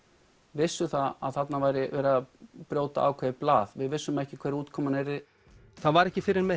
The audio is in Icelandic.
vissu að þarna væri verið að brjóta ákveðið blað við vissum ekki hver útkoman yrði það var ekki fyrr en með